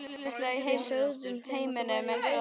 Við sögðum þeim að þú værir í Reykjavík.